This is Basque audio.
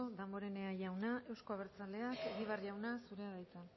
danborenea jauna euzko albertzaleak egibar jauna zurea da hitza